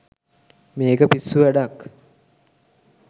මේක පිස්සු වැඩක්